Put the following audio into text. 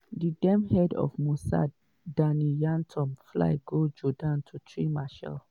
di den head of mossad danny yatom fly go jordan to treat meshaal.